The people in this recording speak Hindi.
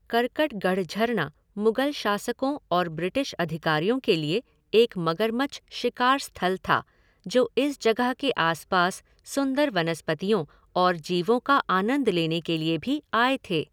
करकटगढ़ झरना मुग़ल शासकों और ब्रिटिश अधिकारियों के लिए एक मगरमच्छ शिकार स्थल था, जो इस जगह के आसपास सुंदर वनस्पतियों और जीवों का आनंद लेने के लिए भी आए थे।